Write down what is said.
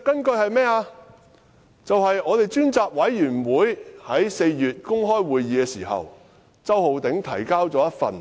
便是專責委員會在4月舉行公開會議時，周浩鼎議員提交了一份